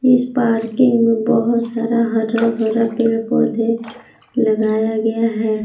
इस पार्किंग में बहोत सारा हरा भरा पेड़ पौधे लगाया गया है।